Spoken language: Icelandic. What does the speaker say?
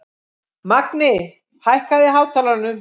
Magni, hækkaðu í hátalaranum.